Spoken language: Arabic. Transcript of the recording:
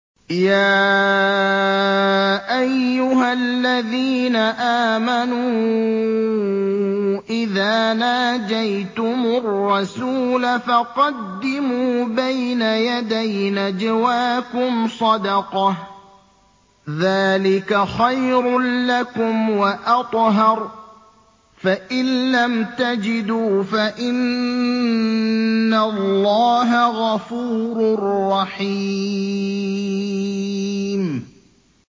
يَا أَيُّهَا الَّذِينَ آمَنُوا إِذَا نَاجَيْتُمُ الرَّسُولَ فَقَدِّمُوا بَيْنَ يَدَيْ نَجْوَاكُمْ صَدَقَةً ۚ ذَٰلِكَ خَيْرٌ لَّكُمْ وَأَطْهَرُ ۚ فَإِن لَّمْ تَجِدُوا فَإِنَّ اللَّهَ غَفُورٌ رَّحِيمٌ